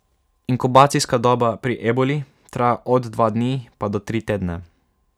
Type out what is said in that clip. Inkubacijska doba pri eboli traja od dva dni, pa do tri tedne.